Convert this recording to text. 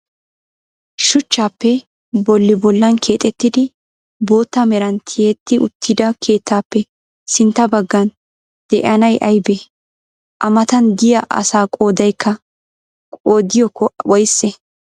Shuchchappe bolli bollan keexettidi bootta meran ti'etti uttida keettappe sintta baggan de'iyaanay ayibee? A matan diyaa asaa qoodayikka qoodiykko woyisee?